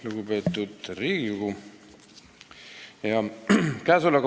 Lugupeetud Riigikogu!